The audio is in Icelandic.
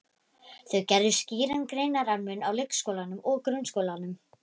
Þau gerðu skýran greinarmun á leikskólanum og grunnskólanum.